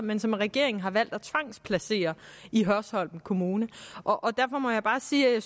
men som regeringen har valgt at tvangsplacere i hørsholm kommune og derfor må jeg bare sige at